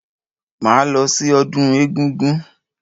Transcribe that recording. Máa lọ sí ọdún egúngún.